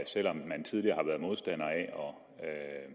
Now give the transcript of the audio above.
selv om man tidligere har været modstander af at om